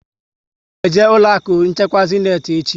A ga m eje ụlọ akụ nchekwa Zéniti echi